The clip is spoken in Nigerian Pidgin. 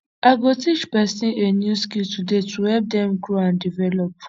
i go teach pesin a new skill today to help dem grow and develop